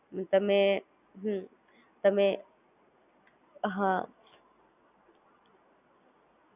બરોબર છે અને Most important તમે Google Pay માં ત્રાંસકશન હિસ્ટોરી છે એ જતી નથી રહેતી અચ્છા એટલે ડેટા બી સ્ટોરે કરે છે કે કઈ કઈ જગ્યાએ યુઝ કર્યા છે, transaction કાર્ય છે, પ્ક્યાંય શોપમે કે ક્યાંય.